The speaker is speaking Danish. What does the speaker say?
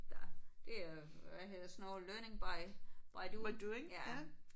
Der det er hvad hedder sådan noget learning by by doing ja